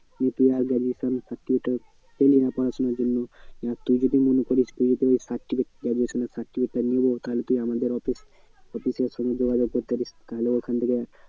নিয়ে তুই আর graduation certificate টা পেলি না পড়াশোনার জন্য এবার তুই যদি মনে করিস certificate graduation এর certificate টা নেবো তাহলে তুই আমাদের office, office এর সঙ্গে যোগাযোগ করতে পারিস। তাহলে ওখান থেকে